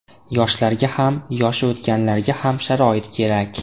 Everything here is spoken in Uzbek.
Yoshlarga ham, yoshi o‘tganlarga ham sharoit kerak.